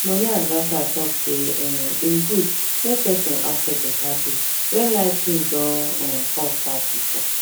money adviser talk say e um good make person ask for better pay when life things don um cost pass before